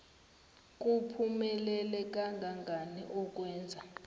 kuphumelela kangangani ukwenza